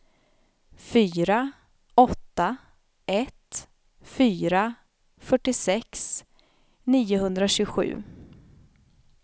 fyra åtta ett fyra fyrtiosex niohundratjugosju